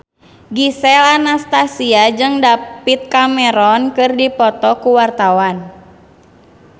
Gisel Anastasia jeung David Cameron keur dipoto ku wartawan